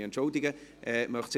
Ich entschuldige mich.